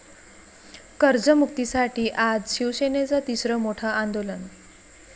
कर्जमुक्तीसाठी आज शिवसेनेचं तिसरं मोठं आंदोलन